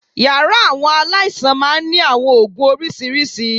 Yàrá àwọn aláìsàn máa ń ní àwọn oògùn oríṣiríṣi